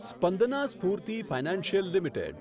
Spandana Sphoorty financial limited